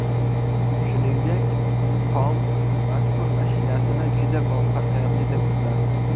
Shuningdek, Tom mazkur mashinasini juda muvaffaqiyatli deb biladi.